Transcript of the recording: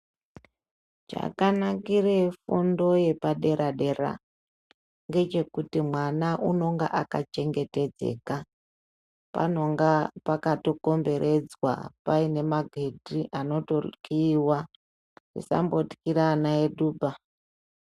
Chakanakire fundo yepadera-dera ngechekuti mwana unonga akachengetedzeka, panonga pakato komberedzwa, paine magedhi anoto kiiwa. Musambotkira ana enyu baa..